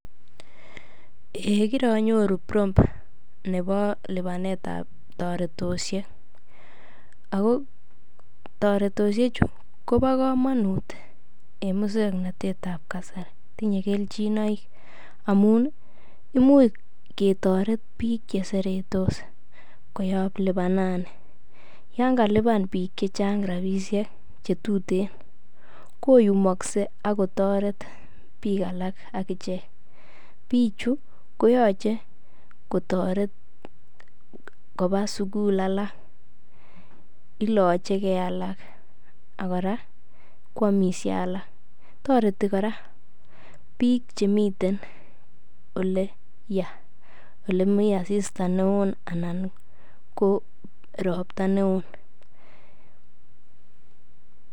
Eiy kironyoru prompt nebo lipanetab toretosiek ago toretosheju kobo komonut en muswoknatet ab kasari tinye kelchinoik amun imuch ketore biik che seretos koyob lipanani, yon kalipan biik che chang rabishek che tuten koyumokse ak kotoret biik alak ak ichek. Bichu koyoche kotoret koba sugul alak, iloche ge alak ak kora kwomisie alak. Toreti kora biik chemiten ole ya ole mi asista neo anan ko ropta neo